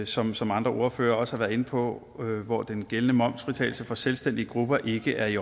som som andre ordførere også har været inde på og hvor den gældende momsfritagelse for selvstændige grupper ikke er i